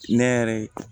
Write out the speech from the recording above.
Ne yɛrɛ ye